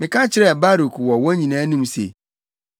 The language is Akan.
“Meka kyerɛɛ Baruk wɔ wɔn nyinaa anim se,